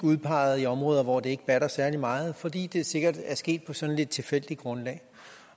udpeget i områder hvor det ikke batter særlig meget fordi det sikkert er sket på et sådan lidt tilfældigt grundlag